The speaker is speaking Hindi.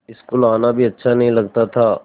स्कूल आना भी अच्छा नहीं लगता था